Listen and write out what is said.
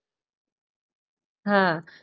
હા